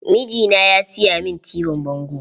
Mijina ya siya min tibin bango.